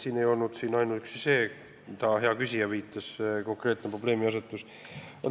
Siin ei ole oluline ainuüksi see konkreetne probleemiasetus, millele hea küsija viitas.